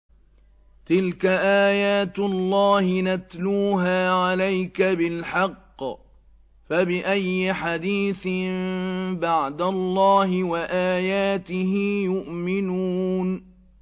تِلْكَ آيَاتُ اللَّهِ نَتْلُوهَا عَلَيْكَ بِالْحَقِّ ۖ فَبِأَيِّ حَدِيثٍ بَعْدَ اللَّهِ وَآيَاتِهِ يُؤْمِنُونَ